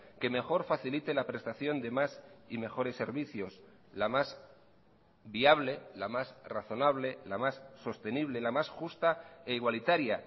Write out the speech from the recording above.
que mejor facilite la prestación de más y mejores servicios la más viable la más razonable la más sostenible la más justa e igualitaria